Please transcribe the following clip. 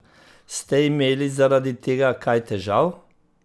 Ste imeli zaradi tega kaj težav?